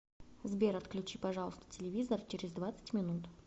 сбер отключи пожалуйста телевизор через двадцать минут